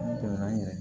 N tɛmɛna n yɛrɛ